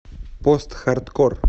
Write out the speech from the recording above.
постхардкор